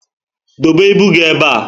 Dobe ibu gị ébé a